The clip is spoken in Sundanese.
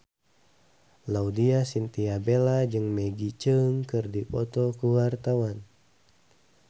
Laudya Chintya Bella jeung Maggie Cheung keur dipoto ku wartawan